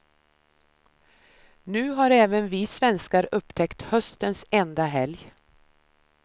Nu har även vi svenskar upptäckt höstens enda helg.